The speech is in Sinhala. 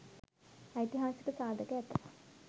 ඓතිහාසික සාධක ඇත.